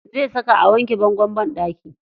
Zai saka a wanke bangon banɗaki.